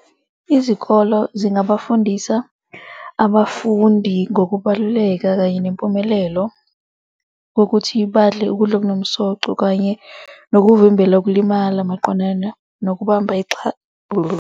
Izikolo zingabafundisa abafundi ngokubaluleka kanye nempumelelo kokuthi badle ukudla okunomsoco kanye nokuvimbela ukulimala maqondana nokubamba .